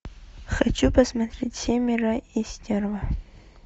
хочу посмотреть семеро и стерва